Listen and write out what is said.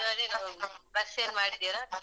ಗಾಡೀಲಿ ಹೋಗುದಾ bus ಏನಾದ್ರು ಮಾಡಿದಿರಾ?